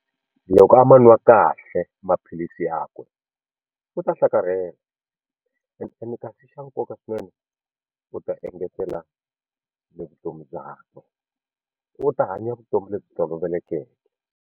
Loko a ma nwa kahle maphilisi yakwe u ta hlakarhela ene kasi xa nkoka swinene u ta engetela ni vutomi byakwe u ta hanya vutomi lebyi tolovelekeke.